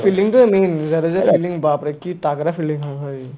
fielding টো main Jadeja fielding বাপৰে বাপ কি targra fielding হয় ভাই